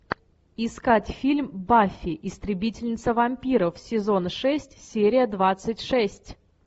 искать фильм баффи истребительница вампиров сезон шесть серия двадцать шесть